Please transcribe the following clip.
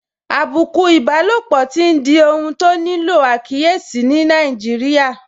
Àbùkù ìbálòpọ̀ tí n di ohun tó nílò àkíyèsí ní Nàìjíríà